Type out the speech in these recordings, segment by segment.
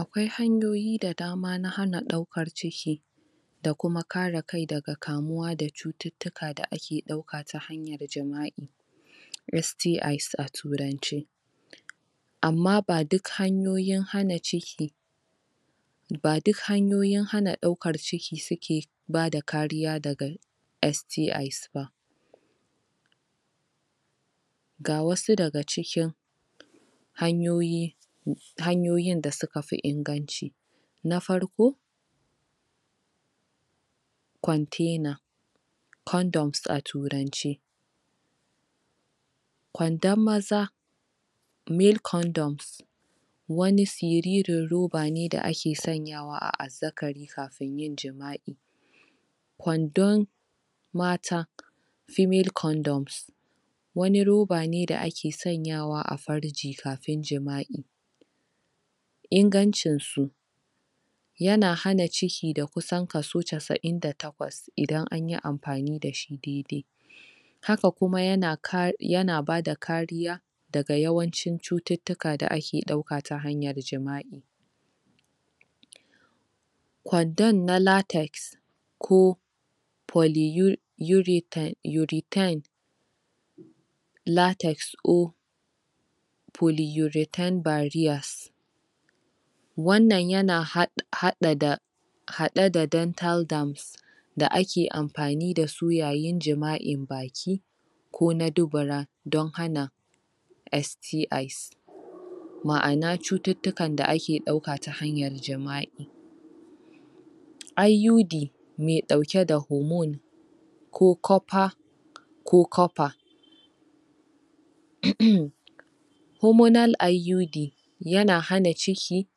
Akwai hanyoyi da dama na hana ɗaukar ciki da kuma kare kai daga kamuwa da cututtuka da ake ɗauka ta hanyar jima'i STI's a turance amma ba duk hanyoyin hana ciki ba duk hanyoyin hana ɗaukar ciki suke bada kariya daga STI's ba ga wasu daga cikin hanyoyi? hanyoyin da suka fi inganci Na farko, kwantena "condoms"a turance kwandon maza "male condoms" wani siririn roba ne da ake sanyawa a azzakari kafin yin jima'i kwandon mata "female condoms" wani roba ne da ake sanyawa a farji kafin jima'i ingancin su yana hana ciki da kusan kaso casa'in da takwas idan anyi amfani dashi dai-dai haka kuma yana ka, yana bada kariya daga yawancin cututtuka da ake ɗauka ta hanyar jima'i kwandon na "latex" ko "poly u" "urethane, urethane" "latex or" "polyurethane barriers" wannan yana haɗ haɗa da haɗe da "dental dams" da ake amfani dasu yayin jima'in baki ko na dubura, don hana STI's ma'ana cututtukan da ake ɗauka ta hanyar jima'i IUD me ɗauke da "hormone" ko "copper" ko "copper"? "hormonal IUD" yana hana ciki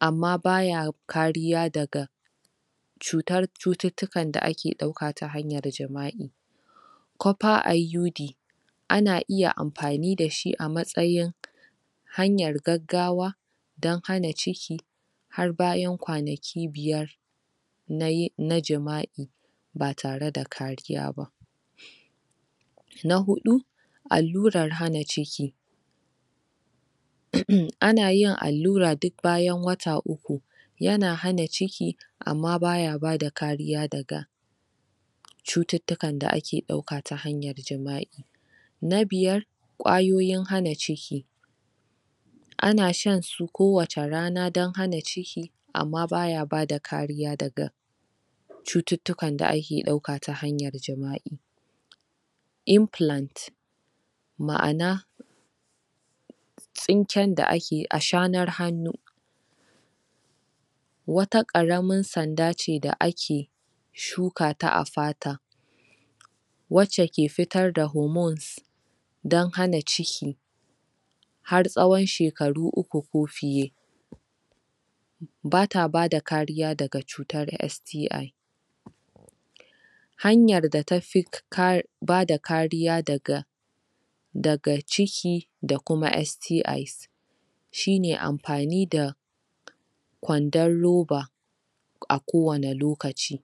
amma baya kariya daga cutar cututtukan da ake ɗauka ta hanyar jima'i "copper IUD" ana iya amfani dashi a matsayin hanyar gaggawa don hana ciki har bayan kwanaki biyar na yin na jima'i ba tare da kariya ba na huɗu allurar hana ciki? anayin allura duk bayan wata uku yana hana ciki amma baya bada kariya daga cututtukan da ake ɗauka ta hanyar jima'i na biyar ƙwayoyin hana ciki ana shan su kowacce rana don hana ciki amma baya bada kariya daga cututtukan da ake ɗauka ta hanyar jima'i "implant" ma'ana tsinken da ake ashanar hannu wata ƙaramin sanda ce da ake shukata a fata wacce ke fitar da "hormones" don hana ciki har tsahon shekaru uku ko fiye bata bada kariya daga cutar STI hanyar da tafi ka bada kariya daga daga ciki da kuma STI's shine amfani da kwandon roba a kowane lokaci.